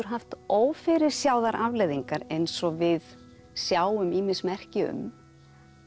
haft ófyrirséðar afleiðingar eins og við sjáum ýmis merki um